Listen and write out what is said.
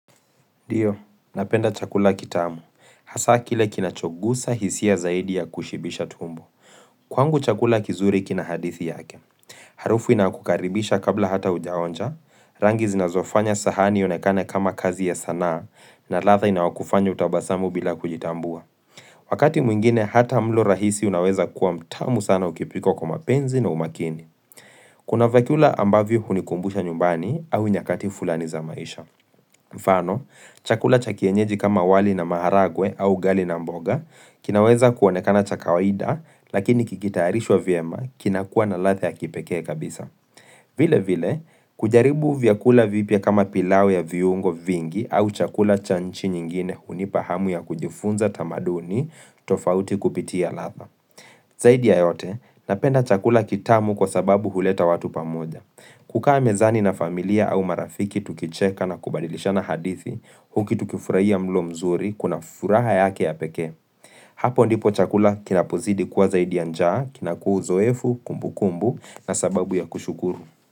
Ndio, napenda chakula kitamu. Hasaa kile kinachoguza hisia zaidi ya kushibisha tumbo. Kwangu chakula kizuri kina hadithi yake. Harufu inakukaribisha kabla hata hujaonja, rangi zinazofanya sahani ionekane kama kazi ya sanaa, na ladha inayokufanya utabasamu bila kujitambua. Wakati mwingine hata mlo rahisi unaweza kuwa mtamu sana ukipikwa kwa mapenzi na umakini. Kuna vyakula ambavyo hunikumbusha nyumbani au nyakati fulani za maisha. Mfano, chakula cha kienyeji kama wali na maharagwe au ugali na mboga kinaweza kuonekana cha kawaida lakini kikitayarishwa vyema kinakuwa na ladha ya kipekee kabisa. Vile vile, kujaribu vyakula vipya kama pilau ya viungo vingi au chakula cha nchi nyingine hunipa hamu ya kujifunza tamaduni tofauti kupitia ladha. Zaidi ya yote, napenda chakula kitamu kwa sababu huleta watu pamoja. Kukaa mezani na familia au marafiki tukicheka na kubadilishana hadithi, huku tukifurahia mlo mzuri, kuna furaha yake ya pekee. Hapo ndipo chakula kinapozidi kuwa zaidi ya njaa, kinaku uzoefu, kumbu kumbu, na sababu ya kushukuru.